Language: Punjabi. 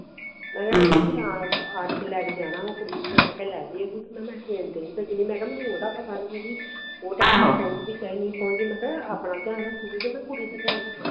ਆਪ ਆ ਕੇ ਲੈਕੇ ਜਾਣਾ ਵਾ ਕੁੜੀ ਨੂੰ ਤੇ ਮੈਂ ਕਿਹਾ ਲੈ ਜੇ ਮੈਂ ਕਿਹਾ train ਤੇ ਨਹੀਂ ਭੇਜਣਾ ਮੈਂ ਕਿਹਾ ਮੈਨੂੰ ਓਹਦਾ ਪਤਾ ਨਹੀਂ ਹੈ ਵੀ ਮੈਂ ਕਹਿਆ ਆਪਣਾ ਧਿਆਨ ਰਖੁਗੀ ਕੇ ਕੁੜੀ ਦਾ ਧਿਆਨ ਰਖੁਗੀ